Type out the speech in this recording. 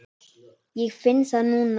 Ég finn það núna.